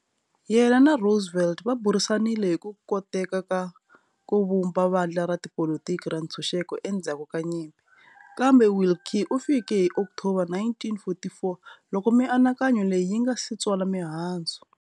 Yena na Roosevelt va burisanile hi ku koteka ka ku vumba vandla ra tipolitiki ra ntshunxeko endzhaku ka nyimpi, kambe Willkie u fike hi October 1944 loko mianakanyo leyi yi nga si tswala mihandzu.